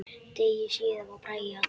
Degi síðar var Bragi allur.